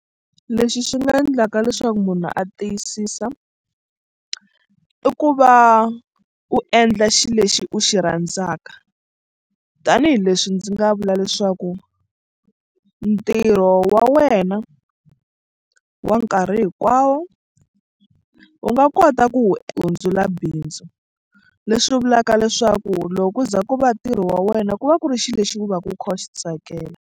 Lexi xi nga endlaka leswaku munhu a tiyisisa i ku va u endla xilo lexi u xi rhandzaka tanihileswi ndzi nga vula leswaku ntirho wa wena wa nkarhi hinkwawo u nga kota ku wu hundzula bindzu leswi vulaka leswaku loko ku za ku va ntirho wa wena ku va ku ri xilo lexi ku va u kha u xi tsakela.